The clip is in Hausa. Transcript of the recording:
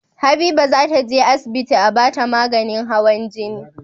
Habiba zata je asibiti a bata maganin hawan jini